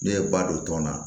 Ne ye ba don tɔn na